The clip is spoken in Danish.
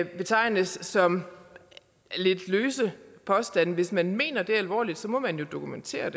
betegnes som lidt løse påstande hvis man mener det alvorligt må man jo dokumentere